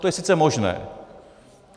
To je sice možné.